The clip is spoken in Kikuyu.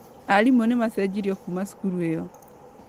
Arimũ nĩmacenjirio kuma cukuru ĩyo